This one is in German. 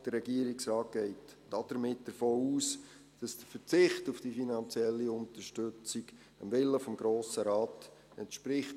Der Regierungsrat geht damit davon aus, dass der Verzicht auf die finanzielle Unterstützung dem Willen des Grossen Rates entspricht.